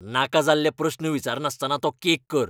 नाका जाल्ले प्रस्न विचारनासतना तो केक कर .